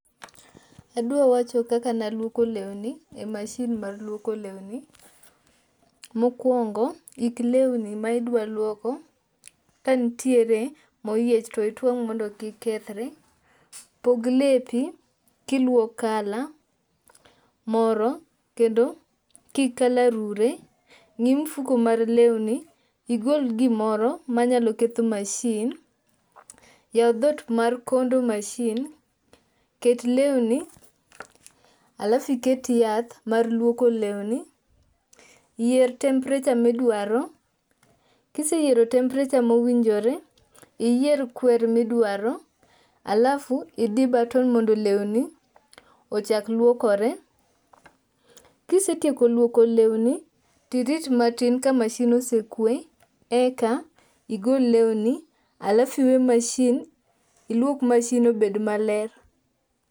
Adwa wacho kaka naluoko lewni e mashin mar luoko lewni. Mokwongo ik lewni ma idwa luoko, kantiere moyiech to itwang' mondo kik kethre. Pog lepi kiluo color[cvs] moro kendo kik color rure, ng'i mfuko mar lewni igol gimoro manyalo ketho mashin, yaw dhot mar condu mashin, ket lewni alafu iket yath mar luoko lewni, yier temperature midwaro kiseyiero temprature mowinjore, iyier kwer midwaro alafu idi button mondo lewni ochak luokore. Kisetieko luoko lewni tirit matin ka mashin osekwe eka igol lewni alafu iluok mashin obed maler.